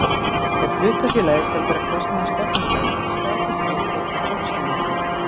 Ef hlutafélagið skal bera kostnað af stofnun þess skal þess getið í stofnsamningi.